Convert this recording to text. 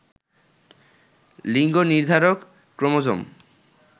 লিঙ্গ নির্ধারক ক্রোমোজোম